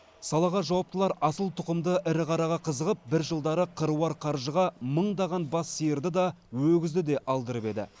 салаға жауаптылар асыл тұқымды ірі қараға қызығып бір жылдары қыруар қаржыға мыңдаған бас сиырды да өгізді де алдырып еді